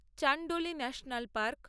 Chandoli national park